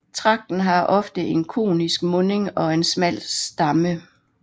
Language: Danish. Tragten har ofte en konisk munding og en smal stamme